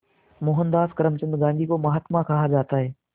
मोहनदास करमचंद गांधी को महात्मा कहा जाता है